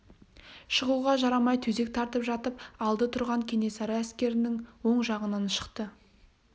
шығуға жарамай төсек тартып жатып алды тұрған кенесары әскерінің оң жағынан шықты